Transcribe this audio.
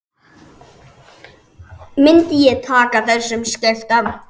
Myndi ég taka þessum skiptum?